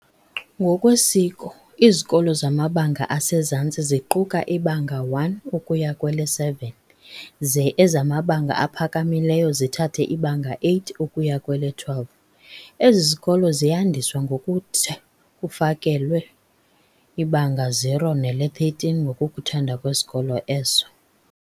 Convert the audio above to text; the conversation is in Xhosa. Ngokwesiko, izikolo zamabanga asezantsi ziquka iBanga 1 ukuya kwele-7 ze ezamabanga aphakamileyo zithathe iBanga 8 ukuya kwele-12. Ezi zikolo ziyandiswa ngokutha kufakelwe ibanga 0 nele-13 ngokokuthanda kwesikolo eso.